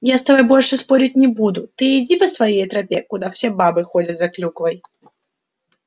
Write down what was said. я с тобой больше спорить не буду ты иди по своей тропе куда все бабы ходят за клюквой